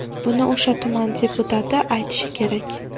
Buni o‘sha tuman deputati aytishi kerak.